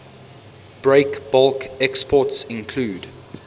breakbulk exports include